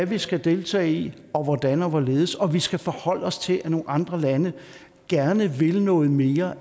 vi skal deltage i og hvordan og hvorledes vi skal forholde os til at nogle andre lande gerne vil noget mere